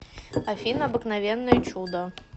афина обыкновенное чудо